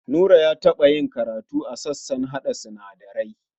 Nura ya taɓa yi karatu a sashen harhaɗa sinadarai.